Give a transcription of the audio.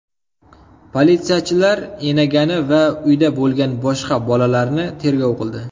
Politsiyachilar enagani va uyda bo‘lgan boshqa bolalarni tergov qildi.